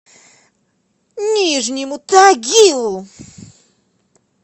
нижнему тагилу